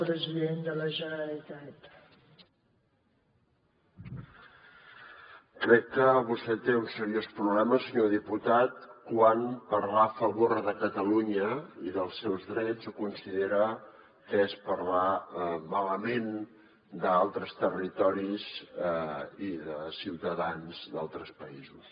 crec que vostè té un seriós problema senyor diputat quan parlar a favor de catalunya i dels seus drets ho considera que és parlar malament d’altres territoris i de ciutadans d’altres països